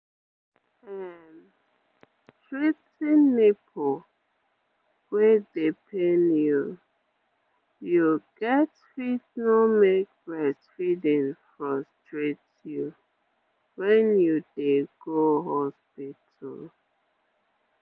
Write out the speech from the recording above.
um treating nipple wey dey pain you you get fit no make breastfeeding frustrate you when you dey go hospital